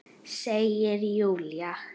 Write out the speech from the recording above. Segir Júlía.